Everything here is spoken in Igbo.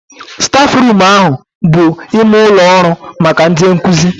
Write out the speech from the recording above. Stafruum ahụ bụ ime ụlọ ọrụ maka ndị nkụzi